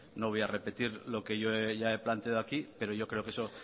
no voy a repetir lo que yo ya he planteado aquí pero yo creo que eso